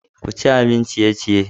Ku ci abun ciye-ciye.